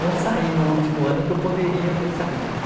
Não saí no último ano que eu poderia ter saído, né?